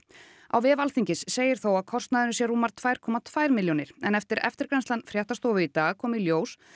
á vef Alþingis segir þó að kostnaðurinn sé rúmar tvær komma tvær milljónir en eftir eftirgrennslan fréttastofu í dag kom í ljós